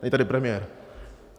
Není tady premiér.